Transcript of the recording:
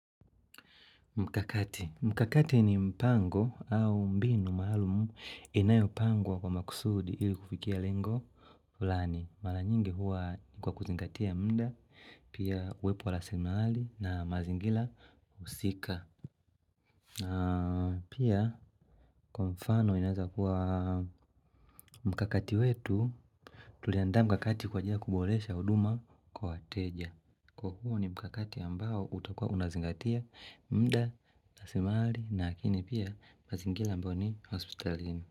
Mikakati. Mikakati ni mpango au mbinu maalum inayopangwa kwa makusudi ili kufikia lengo fulani Mara nyingi huwa ni kwa kuzingatia muda, pia uwepo wa rasilimali na mazingira husika. Na pia kwa mfano inaeza kuwa mkakati wetu, tuliandaa mkakati kwa ajili ya kuboresha huduma kwa wateja. Kwa kuwa ni mkakati ambao utakua unazingatia muda, nasimali na akini pia mazingila ambao ni hospitalin.